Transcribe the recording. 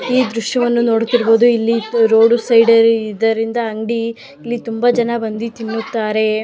ಈ ದೃಶ್ಯವನ್ನು ನೋಡುತ್ತಿರುವುದು ಇಲ್ಲಿ ರೋಡು ಸೈಡ್ ಇದರಿಂದ ಅಂಗಡಿ ಇಲ್ಲಿ ತುಂಬಾ ಜನ ಬಂದಿ ತಿನ್ನುತ್ತಾರೆ.